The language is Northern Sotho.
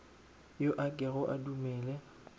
yo a kego a dumele